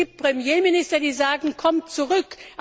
Es gibt Premierminister, die sagen Kommt zurück!